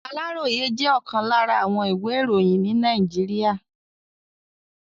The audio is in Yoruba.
Aláròyé jẹ́ ọ̀kan lára àwọn ìwé iroyin ní Nàìjíríà.